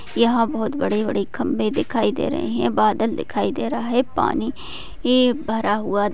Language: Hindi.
यहा बहुत बड़े बड़े खंभे दिखाई दे रहे है बादल दिखाई दे रहे है पानी भी भरा हुवा--